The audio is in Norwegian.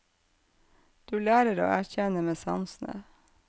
Du lærer å erkjenne med sansene.